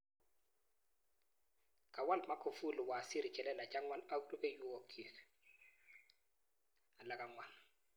Kawal Magufjli waziri chelelach angwan ak rupehwokik alak angwan.